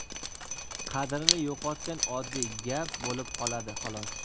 qadrini yo‘qotgan oddiy gap bo‘lib qoladi xolos.